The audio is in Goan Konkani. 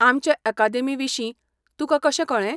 आमचे अकादेमी विशीं तुकां कशें कळ्ळें?